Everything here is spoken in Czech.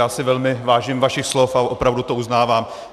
Já si velmi vážím vašich slov a opravdu to uznávám.